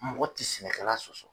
Mɔgɔ tɛ sɛnɛkɛla sɔsɔ.